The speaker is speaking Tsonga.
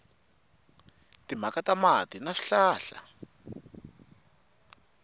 timhaka ta mati na swihlahla